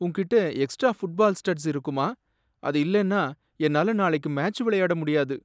உன்கிட்ட extra football studs இருக்குமா? அது இல்லேனா என்னால நாளைக்கு மேட்ச் விளையாட முடியாது.